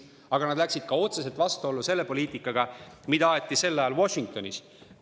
Aga nad läksid ka otseselt vastuollu selle poliitikaga, mida aeti sel ajal Washingtonis.